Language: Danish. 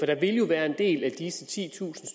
der vil jo være en del af disse titusind